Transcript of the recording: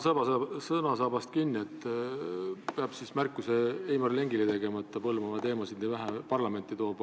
Ma haaran sõnasabast kinni: peab tegema märkuse Heimar Lengile, et ta Põlvamaa teemasid nii vähe parlamenti toob.